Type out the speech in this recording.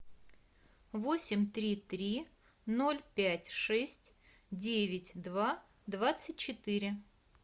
восемь три три ноль пять шесть девять два двадцать четыре